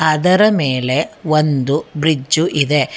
ಅದರ ಮೇಲೆ ಒಂದು ಬ್ರಿಜ್ಜು ಇದೆ.